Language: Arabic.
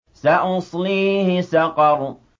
سَأُصْلِيهِ سَقَرَ